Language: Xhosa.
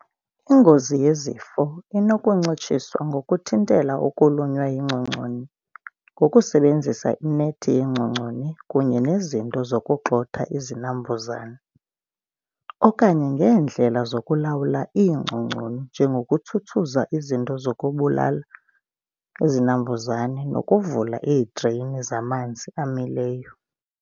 Ingozi yezifo inokuncitshiswa ngokuthintela ukulunywa yingcongconi ngokusebenzisa inethi yengcongconi kunye nezinto zokugxotha izinambuzane, okanye ngeendlela zokulawula iingcongoni njengokutsutsuza zinto zokubulala izinambuzane nokuvula iidreyini zamanzi amileyo.